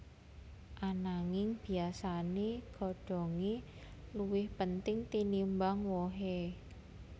Ananging biyasané godhongé luwih penting tinimbang wohé